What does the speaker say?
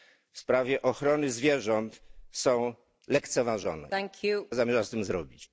w sprawie ochrony zwierząt są lekceważone i co zamierza z tym zrobić?